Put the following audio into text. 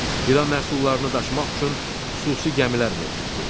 Qida məhsullarını daşımaq üçün xüsusi gəmilər mövcuddur.